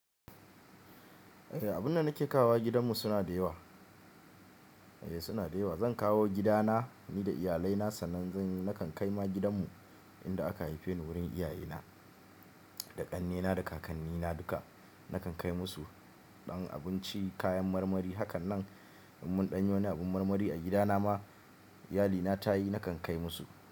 Eh, abun da nake kawo gidanmu suna da yawa. Eh suna da yawa. Zan kawo gidana ni da iyalaina sannan zan yi. Nakan kai ma gidanmu inda aka haife ni wurin iyayena da ƙannena da kakannina duka. Nakan kai musu ɗan abinci, kayan marmari. Hakanan in mun ɗanyi wani abin marmari a gidana ma iyalina ta yi, nakan kai musu.